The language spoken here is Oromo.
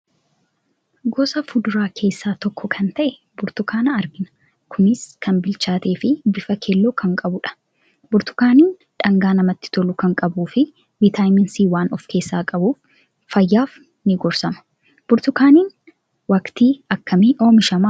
Gosa fuduraa keessaa tokko kan ta'e burtukaana argina. Kunis kan bilchaateefi bifa keelloo kan qabu dha. Burtukaanni dhangaa namatti tolu kan qabuufi vitamin "c" waan ofkeessaa qabuuf fayyaaf nii gorsama. Burtukaaniin waqtii akkamii oomishama ?